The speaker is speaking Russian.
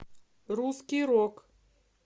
русский рок